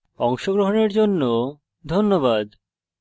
অংশগ্রহনের জন্য ধন্যবাদ